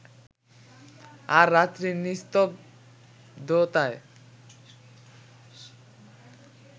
আর রাত্রির নিস্তব্ধতায়